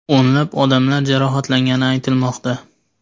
O‘nlab odamlar jarohatlangani aytilmoqda.